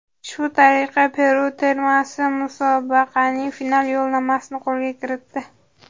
Shu tariqa Peru termasi musobaqaning final yo‘llanmasini qo‘lga kiritdi.